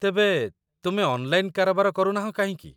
ତେବେ, ତୁମେ ଅନ୍‌ଲାଇନ୍‌ କାରବାର କରୁ ନାହଁ କାହିଁକି ?